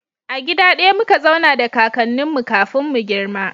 A gida daya muka zauna da kakannin mu kafin mu girma